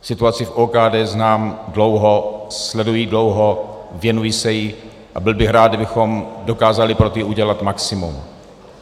Situaci v OKD znám dlouho, sleduji dlouho, věnuji se jí a byl bych rád, kdybychom dokázali pro to udělat maximum.